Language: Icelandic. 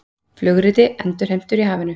Flugriti endurheimtur í hafinu